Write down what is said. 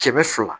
Kɛmɛ fila